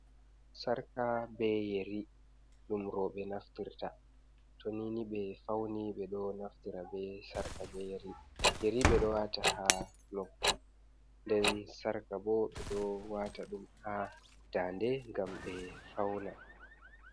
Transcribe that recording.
Sarka be yeri ɗum roɓe naftirta, tou nini ɓe fauni ɓeɗo naftira be sarka be yeri. Yeri ɓeɗo wata ha noppi nden sarka bo ɓeɗo wata ɗum ha dande ngam ɓe fauna.